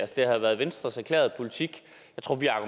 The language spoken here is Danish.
det har været venstres erklærede politik